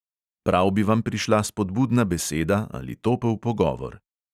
Prav bi vam prišla spodbudna beseda ali topel pogovor.